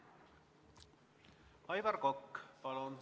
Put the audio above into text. Aivar Kokk, palun!